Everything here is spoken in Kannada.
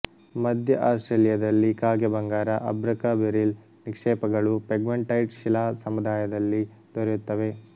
ಮಧ್ಯ ಆಸ್ಟ್ರೇಲಿಯದಲ್ಲಿ ಕಾಗೆಬಂಗಾರ ಅಭ್ರಕ ಬೆರಿಲ್ ನಿಕ್ಷೇಪಗಳು ಪೆಗ್ಮಟೈಟ್ ಶಿಲಾ ಸಮುದಾಯದಲ್ಲಿ ದೊರೆಯುತ್ತವೆ